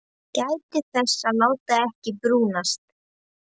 Gætið þess að láta ekki brúnast.